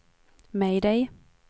mayday